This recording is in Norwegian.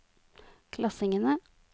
klassingene